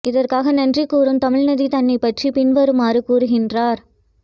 இதற்காக நன்றி கூறும் தமிழ்நதி தன்னைப் பற்றிப் பின்வருமாறு கூறுகின்றார்